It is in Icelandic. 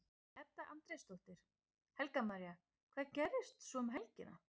Edda Andrésdóttir: Helga María, hvað gerist svo um helgina?